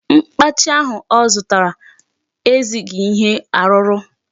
Mkpachi ahụ ọ zụtara ezighị ihe arụrụ.